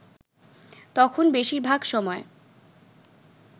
তখন বেশির ভাগ সময়